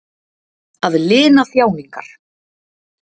Að lina þjáningar.